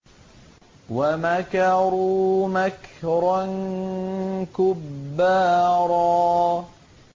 وَمَكَرُوا مَكْرًا كُبَّارًا